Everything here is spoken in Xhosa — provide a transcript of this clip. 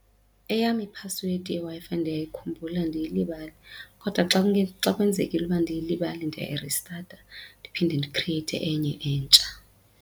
Eyam iphasiwedi yeWi-Fi ndiyayikhumbula andiyilibali kodwa xa xa kwenzekile uba ndiyilibale ndiyayiristatha ndiphinde ndikrieyithe enye entsha.